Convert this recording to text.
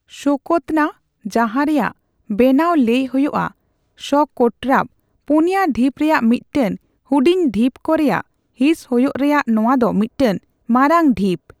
ᱥᱳᱠᱳᱛᱛᱨᱟ, ᱡᱟᱦᱟᱸ ᱨᱮᱭᱟᱜ ᱵᱟᱱᱟᱱ ᱞᱟᱹᱭ ᱦᱳᱭᱳᱜᱼᱟ ᱥᱚᱠᱳᱴᱨᱟᱣ, ᱯᱩᱱᱭᱟᱹ ᱰᱷᱤᱯ ᱨᱮᱭᱟᱜ ᱢᱤᱫᱴᱟᱝ ᱦᱩᱰᱤᱧ ᱰᱷᱤᱯ ᱠᱚ ᱨᱮᱭᱟᱜ ᱦᱤᱸᱥ ᱦᱳᱭᱳᱜ ᱨᱮᱭᱟᱜ ᱱᱚᱣᱟ ᱫᱚ ᱢᱤᱫᱴᱟᱝ ᱢᱟᱨᱟᱝ ᱰᱷᱤᱯ ᱾